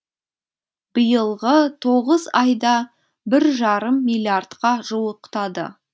биылғы тоғыз айда бір жарым миллиардқа жуықтады